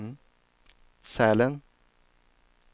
Sälen